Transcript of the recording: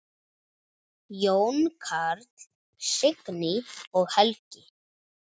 Jón Karl, Signý og Helgi.